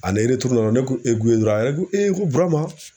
Ani dɔrɔn ne ko Ebuwe , a yɛrɛ ko e ko Burama